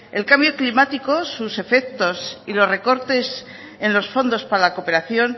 el cambio climático sus efectos y los recortes en los fondos para la cooperación